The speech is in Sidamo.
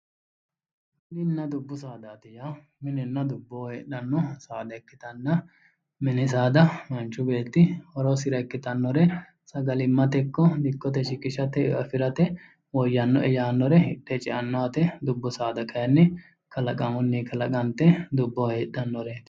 Mininna dubbu saadaati yaa minenna dubboho heedhanno saada ikkitanna, mini saada manchu beetti horosira ikkitannore sagalimmate ikko dikkote shiqishate eo afirate woyyannoe yaannore hidhe ceanno yaate. Dubbu saada kayinni kalaqamunni kalaqante dubboho heedhannoreeti.